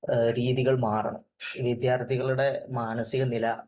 രീതികൾ മാറണം. വിദ്യാർഥികളുടെ മാനസിക നില